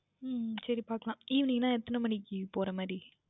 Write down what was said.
உம் சரி பார்க்கலாம் Evening என்றால் எத்தனை மணிக்கு போகின்ற மாதிரி